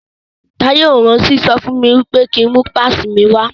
Táyé ò rántí sọ fún mi pé ki ń mú pásìì mi wá.